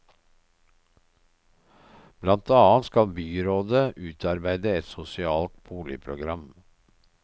Blant annet skal byrådet utarbeide et sosialt boligprogram.